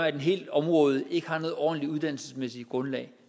at et helt område ikke har et ordentlig uddannelsesmæssigt grundlag